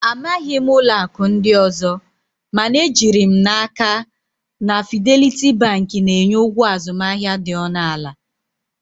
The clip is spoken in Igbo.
I don't know of other banks, but I am sure that Fidelity Bank offers very low transaction charges